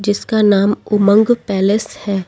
जिसका नाम उमंग पैलेस है।